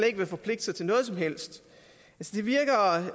ikke vil forpligte sig til noget som helst